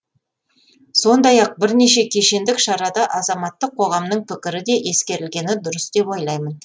сондай ақ бірнеше кешендік шарада азаматтық қоғамның пікірі де ескерілгені дұрыс деп ойлаймын